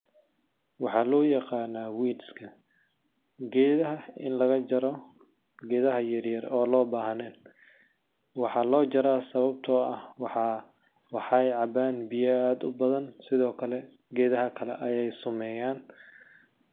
Waxaa loo yaqanaa weeds ka ,geedaha in laga jaro geedaha yaryar oo loo bahneen ,waxaa loo jaraa sawabtoo ah waxeey cabaan biya aad u badan sidoo kale geedaha kale ayeey sumeyaan .